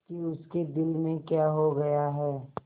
कि उसके दिल में क्या हो गया है